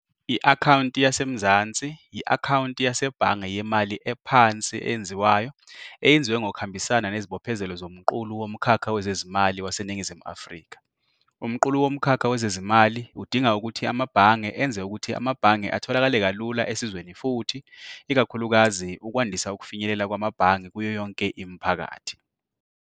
I- Akhawunti Yase Mzansi yi- akhawunti yasebhange yemali ephansi eyenziwayo eyenziwe ngokuhambisana nezibophezelo zoMqulu Womkhakha Wezezimali waseNingizimu Afrika. Umqulu Womkhakha Wezezimali udinga ukuthi amabhange enze ukuthi amabhange atholakale kalula esizweni futhi, ikakhulukazi, ukwandisa ukufinyelela kwamabhange kuyo yonke imiphakathi.